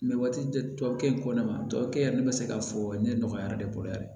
Mɛ waati dɔ tubabukan in ko ne ma tubabukɛ ne bɛ se k'a fɔ ne nɔgɔyara ne bolo yan dɛ